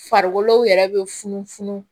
Farikolo yɛrɛ bɛ funufunu